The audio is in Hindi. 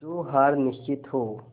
जो हार निश्चित हो